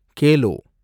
Khelo